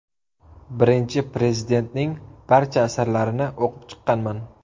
Birinchi Prezidentning barcha asarlarini o‘qib chiqqanman.